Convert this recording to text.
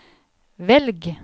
velg